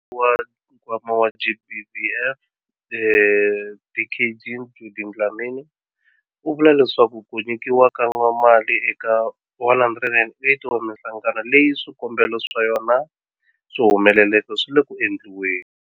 Mutshamaxitulu wa Nkwama wa GBVF, Dkd Judy Dlamini, u vule leswaku ku nyikiwa ka mali eka 108 wa mihlangano leyi swikombelo swa yona swi humeleleke swi le ku endliweni.